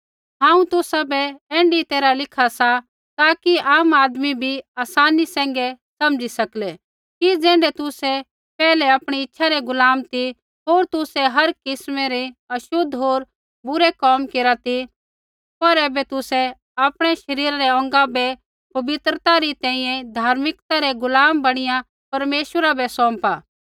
हांऊँ तुसाबै ऐण्ढी तैरहा लिखा सा ताकि आम आदमी बी आसानी सैंघै समझी सकलै कि ज़ैण्ढै तुसै पैहलै आपणी इच्छा रै गुलाम ती होर तुसै हर किस्मै रै छ़ोतले होर बुरै कोम केरा ती पर ऐबै तुसै आपणै शरीरा रै अौंगा बै पवित्रता री तैंईंयैं धार्मिकता रै गुलाम बणिया परमेश्वरा बै सौंपा